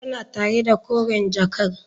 Tana tare da koren jakar.